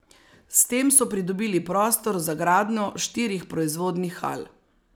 S tem so pridobili prostor za gradnjo štirih proizvodnih hal.